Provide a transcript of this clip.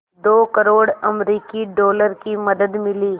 दो करोड़ अमरिकी डॉलर की मदद मिली